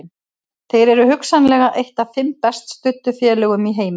Þeir eru hugsanlega eitt af fimm best studdu félögum í heimi.